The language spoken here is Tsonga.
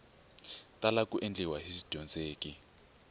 tala ku endliwa hi swidyondzeki